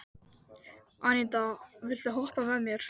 Anita, viltu hoppa með mér?